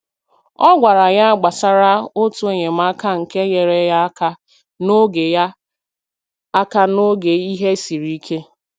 Ọ gwara ya gbasara otu enyemaka nke nyere ya aka n’oge ya aka n’oge ihe siri ike.